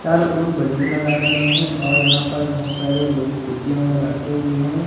चारों और बलून लगाए गए हैं और यहां पर बहुत सारे लोग कुर्सीया में बैठे हुए हैं।